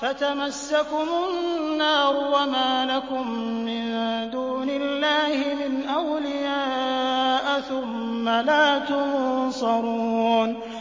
فَتَمَسَّكُمُ النَّارُ وَمَا لَكُم مِّن دُونِ اللَّهِ مِنْ أَوْلِيَاءَ ثُمَّ لَا تُنصَرُونَ